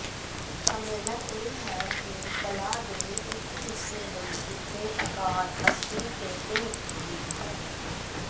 ਸੰਮੇਲਨ ਇਹ ਹੈ ਕਿ ਕਲਾ ਦੇ ਇੱਕ ਹਿੱਸੇ ਲਈ ਦਿੱਤੇ ਅਕਾਰ ਅਸਲੀ ਪੇਟਿੰਗ ਦੀ ਹੈ